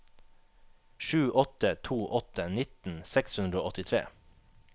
sju åtte to åtte nitten seks hundre og åttitre